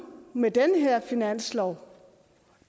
med den her finanslov